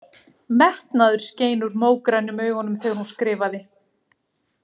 Metnaður skein úr mógrænum augunum þegar hún skrifaði.